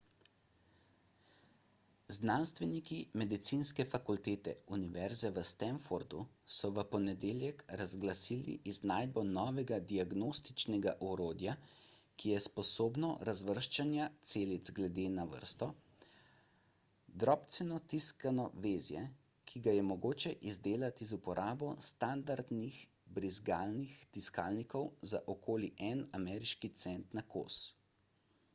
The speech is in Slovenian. znanstveniki medicinske fakultete univerze v stanfordu so v ponedeljek razglasili iznajdbo novega diagnostičnega orodja ki je sposobno razvrščanja celic glede na vrsto drobceno tiskano vezje ki ga je mogoče izdelati z uporabo standardnih brizgalnih tiskalnikov za okoli en ameriški cent na kos